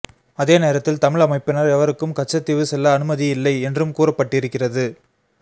அதே நேரத்தில் தமிழ் அமைப்பினர் எவருக்கும் கச்சத்தீவு செல்ல அனுமதியில்லை என்றும் கூறப்பட்டிருக்கிறது